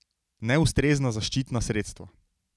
Neustrezna zaščitna sredstva.